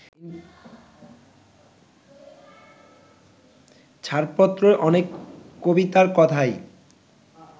ছাড়পত্রর অনেক কবিতার কথাই